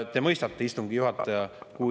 Te mõistate, istungi juhataja, kui …